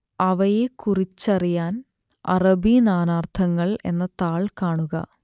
അവയെക്കുറിച്ചറിയാൻ അറബി നാനാർത്ഥങ്ങൾ എന്ന താൾ കാണുക